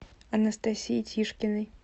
анастасией тишкиной